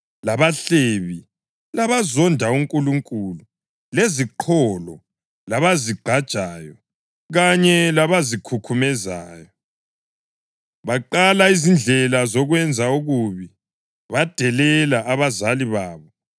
labahlebi, labazonda uNkulunkulu, leziqholo, labazigqajayo kanye labazikhukhumezayo; baqala izindlela zokwenza okubi; badelela abazali babo;